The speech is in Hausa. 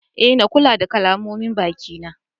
Eh, na kula da kalamomin baki na.